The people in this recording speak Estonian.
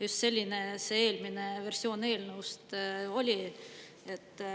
Just selline see eelmine versioon eelnõust oli.